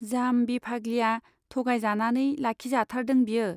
जाम्बि फाग्लिया थगायजानानै लाखिजाथारदों बियो।